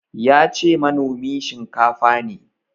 Yace manomi shinkafa ne.